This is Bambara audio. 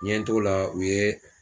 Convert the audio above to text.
N ɲɛ n t'o la u ye